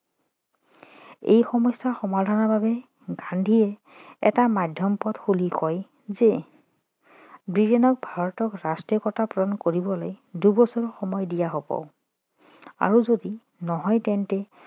এই সমস্যা সমাধানৰ বাবে গান্ধীয়ে এটা মধ্যম পথ খুলি কয় যে ব্ৰিটেইনক ভাৰতক ৰাষ্ট্ৰীয়তা প্ৰদান কৰিবলৈ দুবছৰ সময় দিয়া হব আৰু যদি নহয় তেন্তে